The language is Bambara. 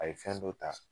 A ye fɛn dɔ ta